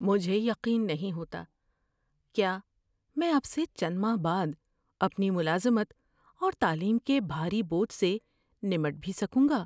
مجھے یقین نہیں ہوتا کیا میں اب سے چند ماہ بعد اپنی ملازمت اور تعلیم کے بھاری بوجھ سے نمٹ بھی سکوں گا۔